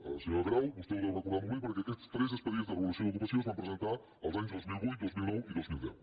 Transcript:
senyora grau vostè ho deu recordar molt bé per·què aquests tres expedients de regulació d’ocupació es van presentar els anys dos mil vuit dos mil nou i dos mil deu